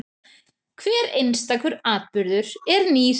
Hver einstakur atburður er nýr.